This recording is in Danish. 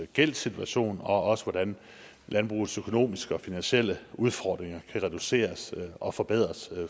gældssituation og også på hvordan landbrugets økonomiske og finansielle udfordringer kan reduceres og forbedres